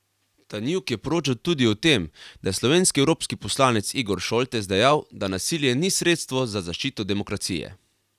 Tanjug je poročal tudi o tem, da je slovenski evropski poslanec Igor Šoltes dejal, da nasilje ni sredstvo za zaščito demokracije.